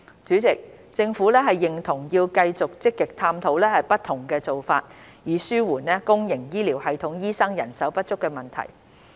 主席，政府認同要繼續積極探討不同的做法，以紓緩公營醫療系統醫生人手不足的問題。